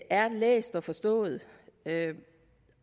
er læst og forstået